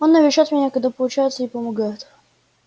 он навещает меня когда получается и помогает